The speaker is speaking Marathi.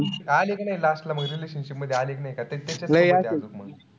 आली कि नाई last ला मग relationship मधी आली किती नाई